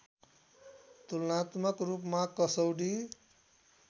तुलनात्मक रूपमा कसौडी